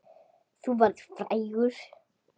Þú verður frægur!